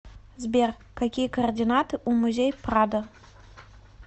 сбер какие координаты у музей прадо